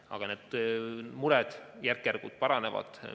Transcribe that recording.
Aga need mured järk-järgult leevenevad.